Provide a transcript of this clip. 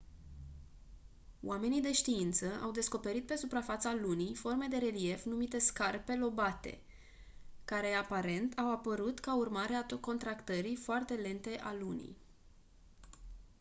oamenii de știință au descoperit pe suprafața lunii forme de relief numite scarpe lobate care aparent au apărut ca urmare a contractării foarte lente a lunii